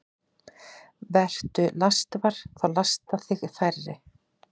Vertu lastvar – þá lasta þig færri.